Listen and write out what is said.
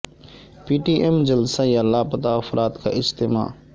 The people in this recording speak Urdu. پی ٹی ایم جلسہ یا لاپتہ افراد کا اجتماع